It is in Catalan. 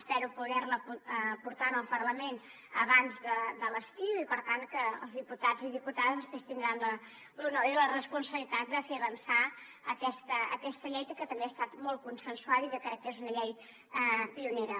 espero poder la portar al parlament abans de l’estiu i per tant els diputats i diputades després tindran l’honor i la responsabilitat de fer avançar aquesta llei que també ha estat molt consensuada i que crec que és una llei pionera